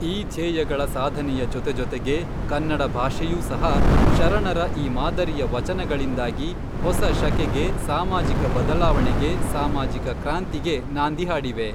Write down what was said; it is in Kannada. ಈ ಧ್ಯೇಯಗಳ ಸಾಧನೆಯ ಜೊತೆಜೊತೆಗೇ ಕನ್ನಡ ಭಾಷೆಯೂ ಸಹ ಶರಣರ ಈ ಮಾದರಿಯ ವಚನಗಳಿಂದಾಗಿ ಹೊಸ ಶಕೆಗೆ ಸಾಮಾಜಿಕ ಬದಲಾವಣೆಗೆ ಸಾಮಾಜಿಕ ಕ್ರಾಂತಿಗೆ ನಾಂದಿ ಹಾಡಿವೆ